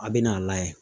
A bɛ n'a layɛ